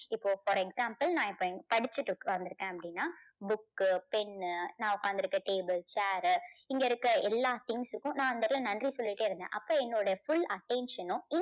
இப்போ for example நான் இப்போ படிச்சிட்டு உக்கந்துருக்கேன் அப்படின்னா book pen நான் உட்காந்துருக்க table chair இங்க இருக்க எல்லா things க்கும் நான் அந்த இடத்துல நன்றி சொல்லிட்டே இருந்தேன். அப்போ என்னோட full attention னும்